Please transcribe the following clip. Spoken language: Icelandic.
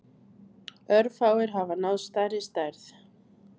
Örfáir hafa náð stærri stærð.